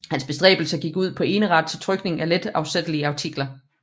Hans bestræbelser gik ud på eneret til trykning af let afsættelige artikler